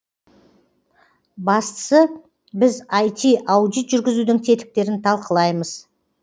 бастысы біз іт аудит жүргізудің тетіктерін талқылаймыз